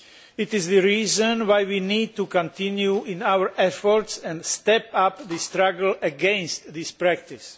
It is the reason why we need to continue in our efforts and step up the struggle against this practice.